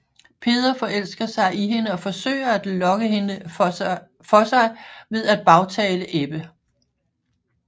Peder forelsker sig i hende og forsøger at lokke hende for sig ved at bagtale Ebbe